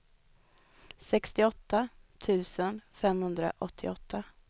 sextioåtta tusen femhundraåttioåtta